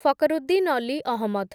Fakruddin Ali Ahmad